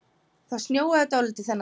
Það snjóaði dálítið þennan dag.